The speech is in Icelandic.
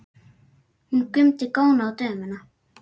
Hún mundi góna á dömuna.